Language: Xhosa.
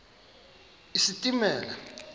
isilimela